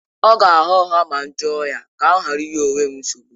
Ọ ga-agha ụgha ma m jụọ ya, ka m ghara ịnye onwe m nsogbu